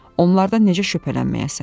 Onlardan necə şübhələnməyəsən?